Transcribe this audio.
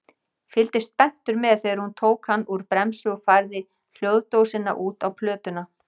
Fylgdist spenntur með þegar hún tók hann úr bremsu og færði hljóðdósina út á plötuna.